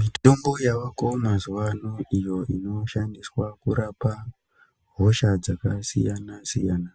Mitombo yavako mazuvaano iyo inoshandiswa kurapa hosha dzakasiyana siyana